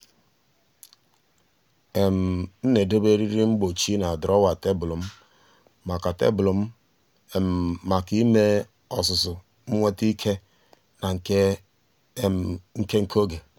m na-edobe eriri mgbochi na drawer tebụl m maka tebụl m maka ime ọzụzụ nweta ike na nke nke oge.